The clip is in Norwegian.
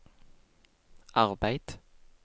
arbeid